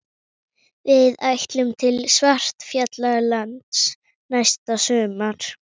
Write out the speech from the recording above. Við ætlum til Svartfjallalands næsta sumar.